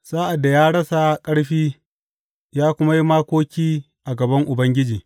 Sa’ad da ya rasa ƙarfi ya kuma yi makoki a gaban Ubangiji.